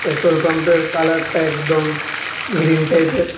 Petrol পাম্পের কালারটা একদম গ্রীন টাইপের।